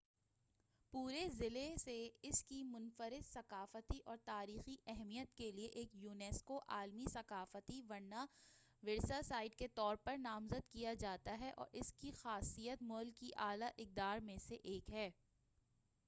پورے ضلع سے اس کی منفرد ثقافتی اور تاریخی اہمیت کے لئے ایک یونیسکو عالمی ثقافتی ورثہ سائٹ کے طور پر نامزد کیا جاتا ہے اور اس کی خاصیت ملک کی اعلی اقدار میں سے ایک ہے